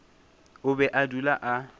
o be a dula a